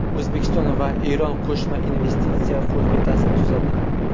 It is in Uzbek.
O‘zbekiston va Eron qo‘shma investitsiya qo‘mitasini tuzadi.